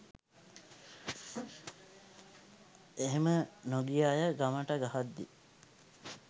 එහෙම නොගිය අය ගමට ගහද්දි